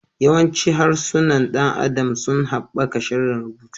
Yawancin harsunan ɗan adam sun haɓaka tsarin rubutu.